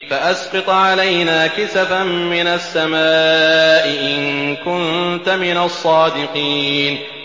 فَأَسْقِطْ عَلَيْنَا كِسَفًا مِّنَ السَّمَاءِ إِن كُنتَ مِنَ الصَّادِقِينَ